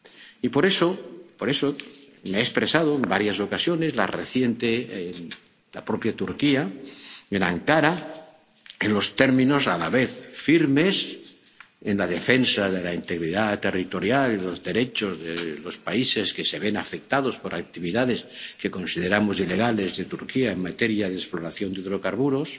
Y, por eso, me he expresado, en varias ocasiones —la reciente, en la propia Turquía, en Ankara—, en los términos a la vez firmes en la defensa de la integridad territorial y los derechos de los países que se ven afectados por actividades, que consideramos ilegales, de Turquía en materia de exploración de hidrocarburos,